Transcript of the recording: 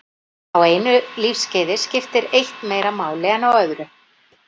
Á einu lífskeiði skiptir eitt meira máli en á öðru.